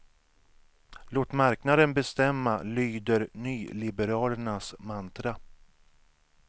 Låt marknaden bestämma, lyder nyliberalernas mantra.